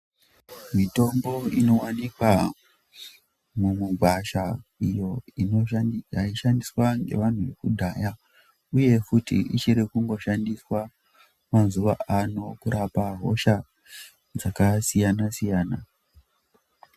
Mitombo inowanikwa mugwasha iyo yaishandiswa nevantu vekudhaya uye kuti ichiringoshandiswa mazuva ano kurapa hosha dzakasiyana siyana